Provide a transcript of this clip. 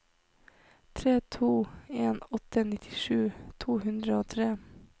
tre to en åtte nittisju to hundre og tre